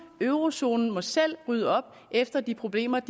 eurozonen må selv rydde op efter de problemer